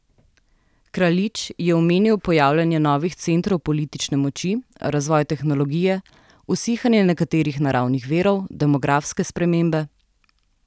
Kraljič je omenil pojavljanje novih centrov politične moči, razvoj tehnologije, usihanje nekaterih naravnih virov, demografske spremembe ...